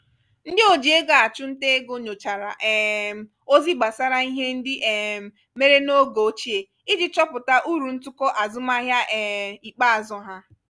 ndị oji ego achụ nta ego nyochara um ozi gbasara ihe ndị um mere n'oge ochie iji chọpụta uru ntụkọ azụmahịa um ikpeazụ ha